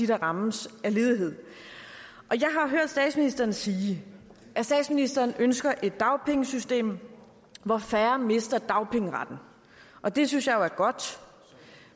der rammes af ledighed jeg har hørt statsministeren sige at statsministeren ønsker et dagpengesystem hvor færre mister dagpengeretten og det synes jeg jo er godt